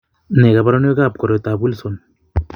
Nee kabarunoikab koroitoab Wilson?